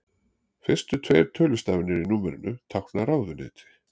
Fyrstu tveir tölustafirnir í númerinu tákna ráðuneyti.